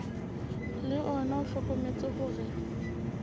le ona o hlokometse hore